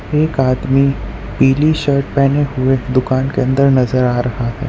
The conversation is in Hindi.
एक आदमी पीली शर्ट पहने हुए दुकान के अंदर नजर आ रहा है।